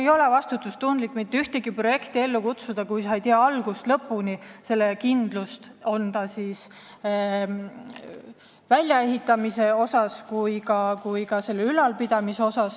Ei ole vastutustundlik mitte ühtegi projekti ellu kutsuda, kui sul ei ole algusest lõpuni kindlust, et seda saab välja ehitada ja ka ülal pidada.